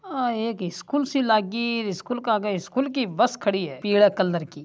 यह एक स्कुल सी लागी इस स्कूल के आगे स्कुल की बस खड़ी है पिले कलर की --